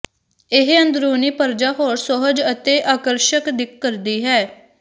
ਇਹ ਅੰਦਰੂਨੀ ਪਰਜਾ ਹੋਰ ਸੁਹਜ ਅਤੇ ਆਕਰਸ਼ਕ ਦਿੱਖ ਕਰਦੀ ਹੈ